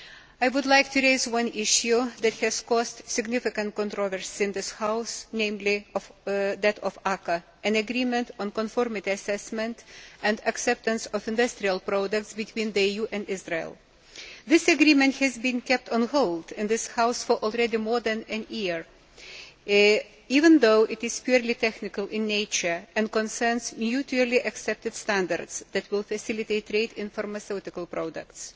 I would like to raise an issue that has caused significant controversy in this House, namely that of ACAA, an agreement on conformity assessment and acceptance of industrial products between the EU and Israel. This agreement has already been kept on hold in this House for more than a year, even though it is purely technical in nature and concerns mutually accepted standards that will facilitate trade in pharmaceutical products.